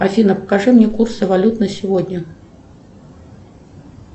афина покажи мне курсы валют на сегодня